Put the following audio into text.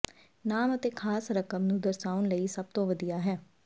ਨਾਮ ਅਤੇ ਖਾਸ ਰਕਮ ਨੂੰ ਦਰਸਾਉਣ ਲਈ ਸਭ ਤੋਂ ਵਧੀਆ ਹੈ